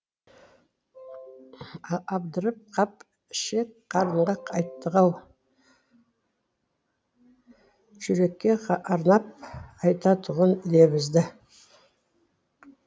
абдырап қап ішек қарынға айттық ау жүрекке арнап айтатұғын лебізді